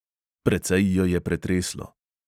Precej jo je pretreslo.